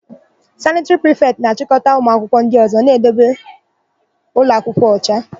Sanịtịrị prịfetị na-achịkọta ụmụakwụkwọ ndị ọ̀zọ́ na-idebe ụlọakwụkwọ ọcha.